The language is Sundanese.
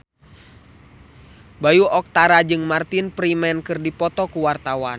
Bayu Octara jeung Martin Freeman keur dipoto ku wartawan